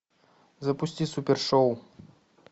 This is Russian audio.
запусти супер шоу